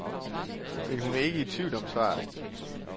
Men hun er ikke i tvivl om svaret.